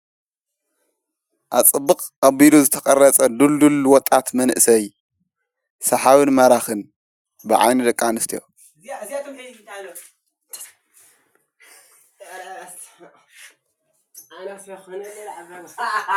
ኣፀብቕ ኣቢሉ ዝተቐረጸ ድልዱል ወጣት መንእሰይ ሠሓብን ማራኽን ብዓይኒ ድቂ ኣንስተዮ።